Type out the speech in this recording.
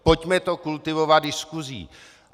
Pojďme to kultivovat diskusí.